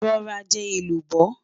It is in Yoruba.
rò rà jò èlùbọ́